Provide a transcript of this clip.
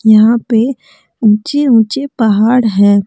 यहां पे ऊंचे ऊंचे पहाड़ है।